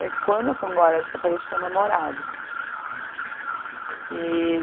Daí, quando eu fui embora de Portugal, eu tinha um namorado. E